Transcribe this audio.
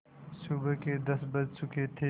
सुबह के दस बज चुके थे